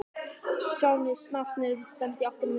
Stjáni snarsneri við og stefndi í áttina að miðbænum.